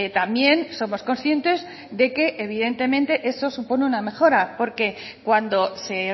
también somos conscientes de que evidentemente eso supone una mejora porque cuando se